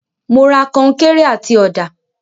Mo ra końkéré àti ọ̀dà.